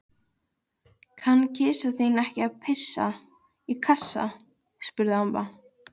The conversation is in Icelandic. Kann kisa þín ekki að pissa í kassa? spurði amma.